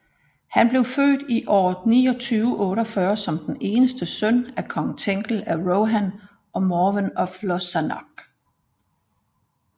Han blev født i år 2948 som den eneste søn af kong Thengel af Rohan og Morwen af Lossarnoch